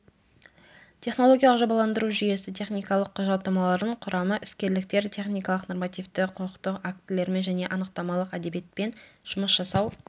технологиялық жобаландыру жүйесі техникалық құжаттамалардың құрамы іскерліктер техникалық нормативті құқықтық актілермен және анықтамалық әдебиетпен жұмыс жасау